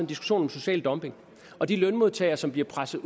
diskussion om social dumping og de lønmodtagere som bliver presset